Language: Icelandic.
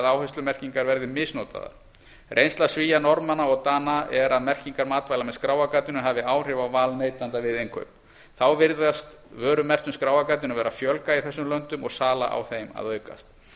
að áherslumerkingar verði misnotaðar reynsla svía norðmanna og dana er að merkingar matvæla með skráargatinu hafi áhrif á val neytenda við innkaup þá virðist vörum merktum skráargatinu vera að fjölga í þessum löndum og sala á þeim að aukast